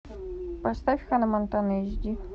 поставь ханна монтана эйч ди